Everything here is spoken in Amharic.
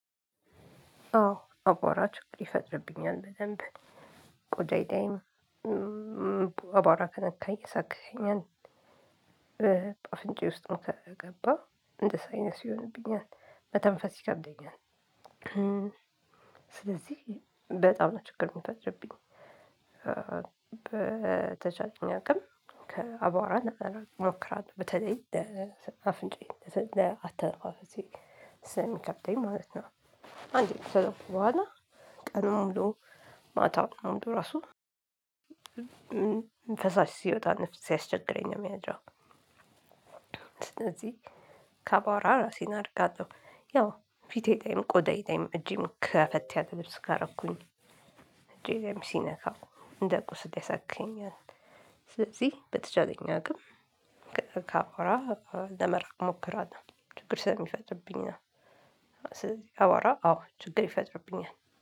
አዎ አቧራ ችግር ይፈጥርብኛል በደንብ ቆዳዬ ላይም እ አቧራ ከነካኝ ያሳክከኛል እ አፍንጫዬ ውስጥም ከገባ እንደ ሳይነስ ይሆንብኛል መተንፈስ ይከብደኛል። እ ስለዚህ በጣም ነው ችግር የሚፈጥርብኝ እ በ ተቻለኝ አቅም ከአቧራ ለመራቅ እሞክራለሁ በተለይ ለ አፍንጫዬን ለ አተነፋፈሴ ስለሚከብደኝ ማለት ነው። አንዴ ከነካኝ በኋላ ቀኑን ሙሉ ማታ ሙሉ ራሱ ፈሳሽ ሲወጣ እና ሲያስቸግረኝ ነው የሚያረው። ስለዚህ ከቧራ እራሴን አርቃለሁ ያው ፊቴ ለይም ቆዳዬ ላይም እጄም ከፈት ያለ ልብስ ካረኩኝ እጄ ላይም ሲነካው እንደ ቁስል ያሳክከኛል። ስለዚህ በተቻለኝ አቅም ከአቧራ ለመራቅ ሞክራለሁ ችግር ስለሚፈጥርብኝ ነው። ስለዚህ አቧራ አዎ ችግር ይፈጥርብኛል